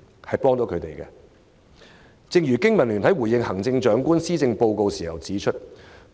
正如香港經濟民生聯盟在回應行政長官施政報告時指出，